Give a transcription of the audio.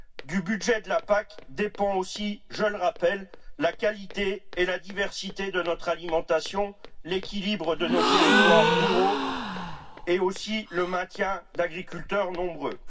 Du budget de la PAC dépendent aussi, je le rappelle, la qualité et la diversité de notre alimentation, l'équilibre de nos territoires ruraux, et aussi le maintien d'agriculteurs nombreux.